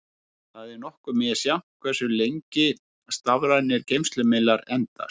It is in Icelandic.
Það er nokkuð misjafnt hversu lengi stafrænir geymslumiðlar endast.